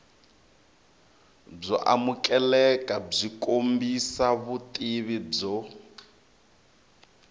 byo amukelekabyi kombisa vutivi byo